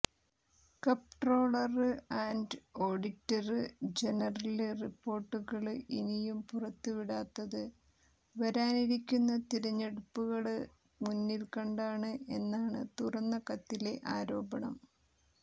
comptroller and auditor general റിപ്പോര്ട്ടുകള് ഇനിയും പുറത്തുവിടാത്തത് വരാനിരിക്കുന്ന തിരഞ്ഞെടുപ്പുകള് മുന്നില്ക്കണ്ടാണ് എന്നാണ് തുറന്ന കത്തിലെ ആരോപണം